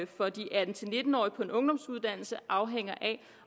for de atten til nitten årige på en ungdomsuddannelse afhænger af